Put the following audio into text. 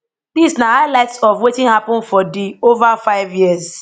dis na highlights of wetin happun for di ova five years